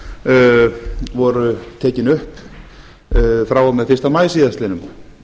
launafólks voru tekin upp frá og með fyrsta maí síðastliðnum